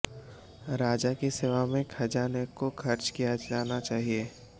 राजा की सेवा में खजाने को खर्च किया जाना चाहिए